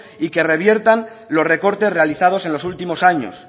y que reviertan los recortes realizados en los últimos años